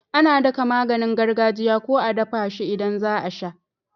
Ana daka maganin gargajiya ko a dafa shi idan zaa sha